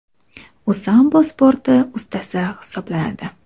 U sambo sporti ustasi hisoblanadi.